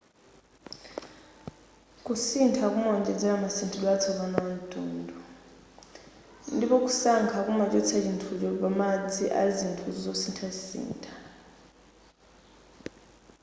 kusintha kumawonjezera masinthidwe atsopano amtundu ndipo kusankha kumachotsa chithucho pamadzi a zinthu zosithasitha